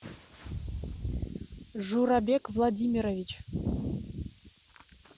журабек владимирович